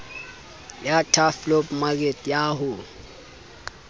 ya turfloop mekete ya ho